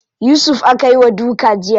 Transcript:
Yusuf aka yi wa duka jiya.